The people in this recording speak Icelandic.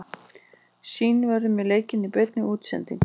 Sýn verður með leikinn í beinni útsendingu.